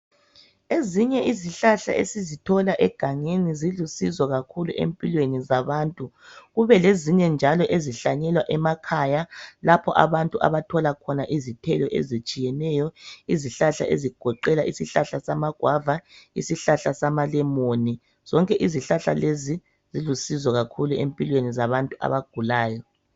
Ezinye izihlahla esizithola egangelni zilusizo kakhulu empilweni zabantu, kubelezinye njalo ezihlanyelwa emakhaya lapho abantu abathola khona izithelo ezitshiyeneyo izihlahla ezigoqela ishlahla samagwava, ishlahla samalemoni zonke izihlahla lezi zilusizo kakhulu empilweni zabantu abagulayo.